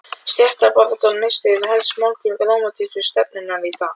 Stéttabaráttan og Neisti eru helstu málgögn rómantísku stefnunnar í dag.